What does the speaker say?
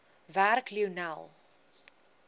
werk lionel